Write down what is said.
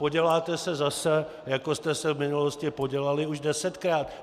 Poděláte se zase, jako jste se v minulosti podělali už desetkrát.